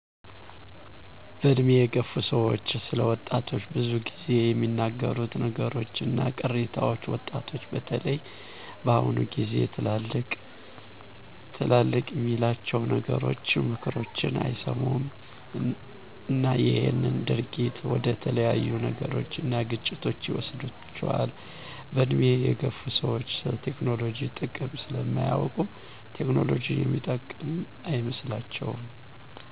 በእድሜ የገፉ ሰዎች ስለ ወጣቶች ብዙ ግዜ የሚናገሩት ነገሩች እና ቅሬታዎች ወጣቶች በተለይ በአሁኑ ግዜ ትላልቅ የሚላቸውን ነገሮችን ምክሮችን አይሰሙም እና ይሄ ድርጊት ወደተለያዩ ነገሮች እና ግጭቶች ይወስዷቸዋል። በእድሜ የገፉ ሰዎች ስለቴክኖሎጂ ጥቅም ስለማያውቁ ቴክኖሎጂ የሚጠቅም አይመስላቸውም